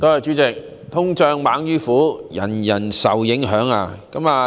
主席，"通脹猛於虎"，人人皆受影響。